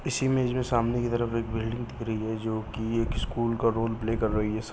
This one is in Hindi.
इस इमेज में सामने के तरफ एक बिल्डिंग दिख रही है जो कि एक स्कूल का रोल प्ले कर रही है। स --